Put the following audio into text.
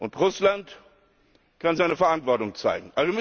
Und Russland kann auch seine Verantwortung zeigen.